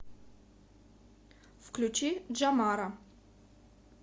включи джамара